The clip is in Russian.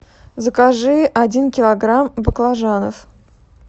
закажи один килограмм баклажанов